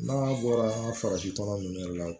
N'a bɔra farafin kɔnɔ ninnu yɛrɛ la